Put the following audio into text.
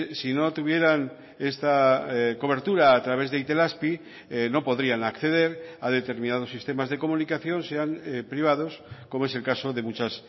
si no tuvieran esta cobertura a través de itelazpi no podrían acceder a determinados sistemas de comunicación sean privados como es el caso de muchas